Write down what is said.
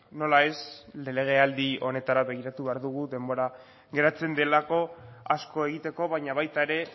nola ez legealdi honetara begiratu behar dugu denbora geratzen delako asko egiteko baina baita ere